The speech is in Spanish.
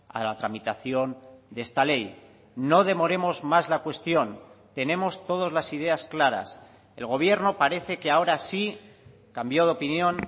a la tramitación de esta ley no demoremos más la cuestión tenemos todos las ideas claras el gobierno parece que ahora sí cambió de opinión